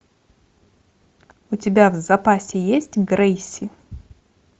у тебя в запасе есть грейси